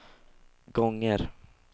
gånger